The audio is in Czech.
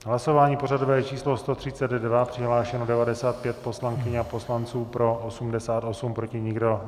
Hlasování pořadové číslo 132, přihlášeno 95 poslankyň a poslanců, pro 88, proti nikdo.